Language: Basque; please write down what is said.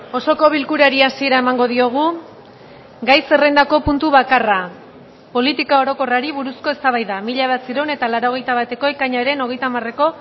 osoko bilkurari hasiera emango diogu gai zerrendako puntu bakarra politika orokorrari buruzko eztabaida mila bederatziehun eta laurogeita bateko ekainaren hogeita hamareko